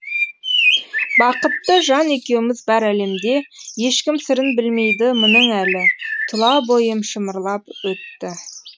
бақытты жан екеуміз бар әлемде ешкім сырын білмейді мұның әлі тұла бойым шымырлап өтті